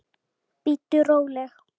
Bíddu róleg!